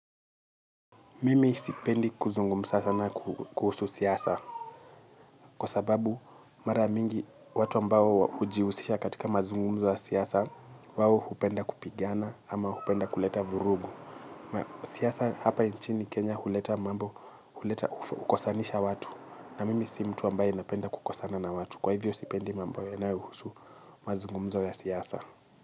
Mimi sipendi kuzungumza sana kuhusu siasa kwa sababu mara mingi watu ambao ujiusisha katika mazungumza wa siasa wawo hupenda kupigana ama hupenda kuleta vurugu. Siasa hapa inchini Kenya huleta mambo huleta ukosanisha watu na mimi si mtu ambaye ninapenda kukosana na watu kwa hivyo sipendi mambo yanayohusu mazungumzo ya siasa.